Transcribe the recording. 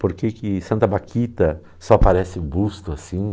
Por que que Santa Baquita só parece um busto assim?